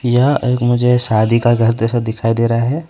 यह एक मुझे शादी का घर जैसा दिखाई दे रहा है।